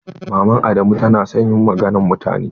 Mama adamu ta na son yin maganan mutane.